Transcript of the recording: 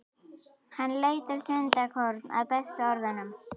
Hann leitar stundarkorn að bestu orðunum.